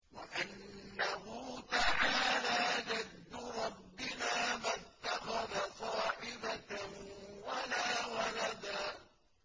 وَأَنَّهُ تَعَالَىٰ جَدُّ رَبِّنَا مَا اتَّخَذَ صَاحِبَةً وَلَا وَلَدًا